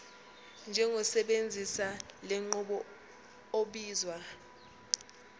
njengosebenzisa lenqubo obizwa